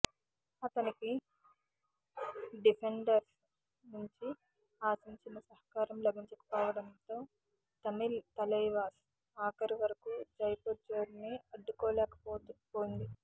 అతనికి డిఫెండర్స్ నుంచి ఆశించినంత సహకారం లభించకపోవడంతో తమిళ్ తలైవాస్ ఆఖరి వరకూ జైపూర్ జోరుని అడ్డుకోలేకపోయింది